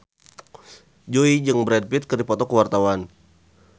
Jui jeung Brad Pitt keur dipoto ku wartawan